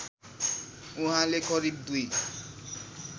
उहाँले करिब दुई